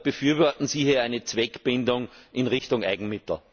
Befürworten Sie hier eine Zweckbindung in Richtung Eigenmittel?